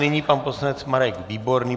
Nyní pan poslanec Marek Výborný.